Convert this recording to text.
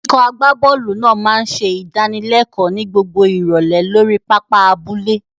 Ikọ̀ agbábọ́ọ̀lù náà máa ń ṣe ìdánilẹ́kọ̀ọ́ ní gbogbo ìrọ̀lẹ́ lórí pápá abúlé.